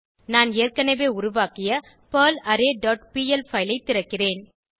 நான் ஏற்கனவே உருவாக்கிய பெர்லாரே டாட் பிஎல் பைல் ஐ திறக்கிறேன்